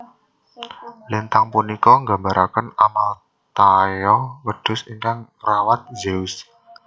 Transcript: Lintang punika nggambaraken Amalthaea wedhus ingkang ngrawat Zeus